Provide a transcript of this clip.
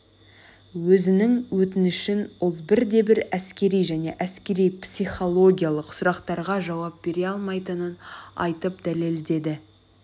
өзінің өтінішін ол бірде-бір әскери және әскери психологиялық сұрақтарға жауап бере алмайтынын айтып дәлелдеді